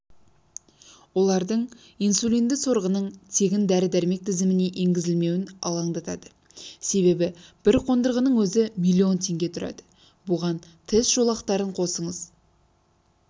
оларды инсулинді сорғының тегін дәрі-дәрмек тізіміне енгізілмеуі алаңдатады себебі бір қондырғының өзі миллион теңге тұрады бұған тест жолақтарын қосыңыз